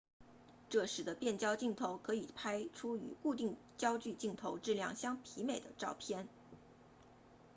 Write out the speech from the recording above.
这使得变焦镜头可以拍出与固定焦距镜头质量相媲美的照片